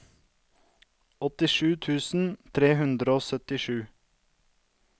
åttisju tusen tre hundre og syttisju